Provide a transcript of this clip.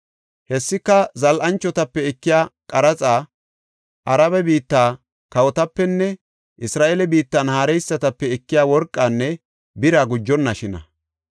Hessika zal7anchotape ekiya qaraxa, Arabe biitta kawotapenne Isra7eele biittan haareysatape ekiya worqanne bira gujonnashina.